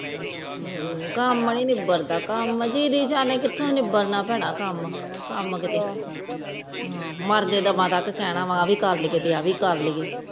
ਹਮ ਕਾਮ ਨੀ ਨਿਬੜਦਾ ਦੀਦੀ ਜਾਣੇ ਕਿਥੋਂ ਨਿਬੜਨ ਭੈਣੇ ਕਾਮ ਕਾਮ ਕੀਤੇ ਮਾਰਦੇ ਦਮ ਤਕ ਕਹਿਣਾ ਵਾ ਆ ਵੀ ਕਰ ਲੀਯੇ ਤੇ ਆ ਵੀ ਕਰ ਲੀਯੇ